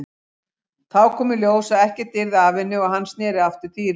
Þá kom í ljós að ekkert yrði af henni og hann sneri aftur til Írlands.